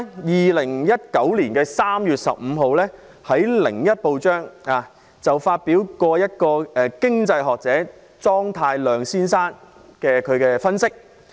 2019年3月15日，《香港01》發表一位經濟學者莊太量先生的分析。